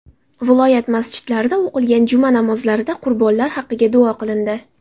Viloyat masjidlarida o‘qilgan juma namozlarida qurbonlar haqiga duo qilindi.